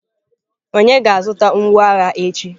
Onye ga-azụta mgboagha echi.